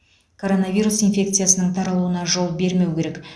коронавирус инфекциясының таралуына жол бермеу керек